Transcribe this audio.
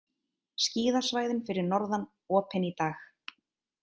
Skíðasvæðin fyrir norðan opin í dag